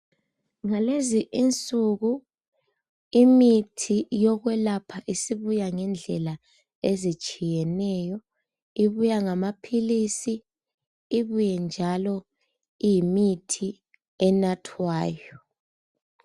Ngalezi insuku imithi yokwelapha isibuya ngendlela ezitshiyeneyo ibuya ngamaphilisi ibuye njalo iyimithi enathwayo